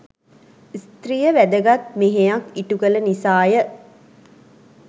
ස්ත්‍රිය වැදගත් මෙහෙයක් ඉටු කළ නිසාය.